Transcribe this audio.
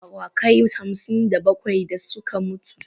Shi ne ma awakai hamsin da bakwai da suka mutu.